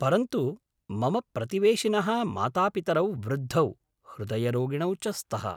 परन्तु मम प्रतिवेशिनः मातापितरौ वृद्धौ, हृदयरोगिणौ च स्तः।